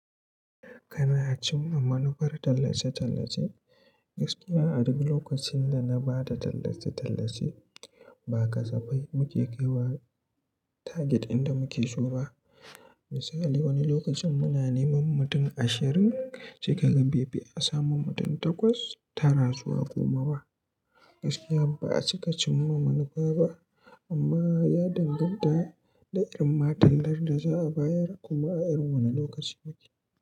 Kana cimma manufar tallace-tallace? Gaskiya a duk lokacin da na ba da tallace-tallace, ba kasafai muke kaiwa target inda muke so ba. Misali, wani lokacin muna neman mutum ashirin, sai ka ga bai fi a samu mutum takwas, tara zuwa goma ba. Gaskiya ba a cika cimma manufa ba, amma ya danganta da irin ma tallar da za a bayar kuma a irin wane lokaci muke.